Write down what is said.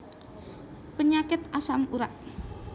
Penyakit asam urat